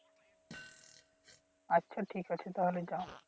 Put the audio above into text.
আচ্ছা ঠিক আছে তাহলে যাও